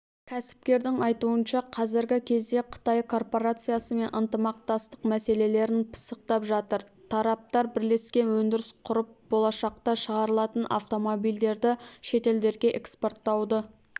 кәсіпкердің айтуынша қазіргі кезде қытай корпорациясымен ынтымақтастық мәселелерін пысықтап жатыр тараптар бірлескен өндіріс құрып болашақта шығарылатын автомобильдерді шетелдерге экспорттауды